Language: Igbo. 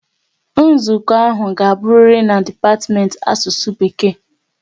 Nzukọ ahụ ga aburiri n'dipatimenti Asusu Bekee